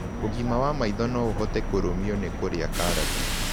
Ũgima wa maĩtho no ũhote kũrũmĩo na kũrĩa karatĩ